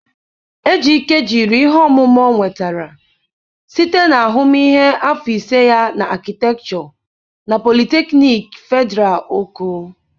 Ejike jiri ihe ọmụma ọ nwetara site na ahụmịhe afọ ise ya na Akịtekchọ na Politeknịk Fedịral Oko.